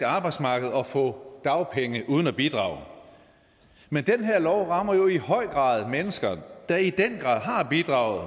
arbejdsmarked og få dagpenge uden at bidrage men den her lov rammer jo i høj grad mennesker der i den grad har bidraget